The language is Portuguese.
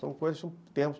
São coisas, são termos.